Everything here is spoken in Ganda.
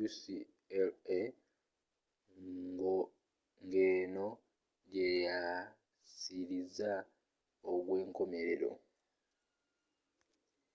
ucla ngeno gyeyasiriza ogwenkomerero